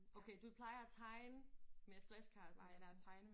Okay du plejer at tegne med flashcardsne og sådan